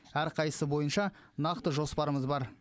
әрқайсысы бойынша нақты жоспарымыз бар